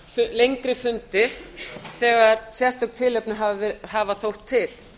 lengri fundi þegar sérstök tilefni hafa þótt til